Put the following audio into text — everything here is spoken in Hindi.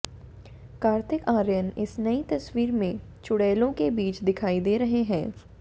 कार्तिक आर्यन इस नई तस्वीर में चुड़ैलों के बीच दिखाई दे रही हैं